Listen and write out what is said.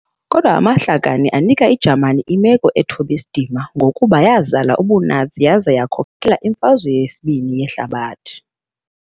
kodwa amahlakani anika iJamani imeko ethob' isidima kangangokuba yazala ubuNazi yaza yakhokelela kwiMfazwe Yehlabathi II